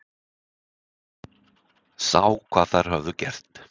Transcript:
Sá hvað þær höfðu gert.